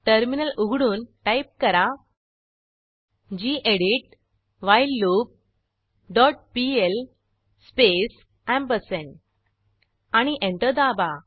terminal उघडून type करा gedit while loop dot PL space ampersand आणि एंटर दाबा